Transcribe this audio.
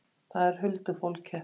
Það er huldufólkið.